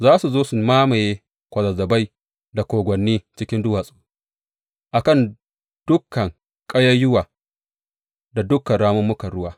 Za su zo su mamaye kwazazzabai da kogwanni cikin duwatsu, a kan dukan ƙayayyuwa da dukan rammukan ruwa.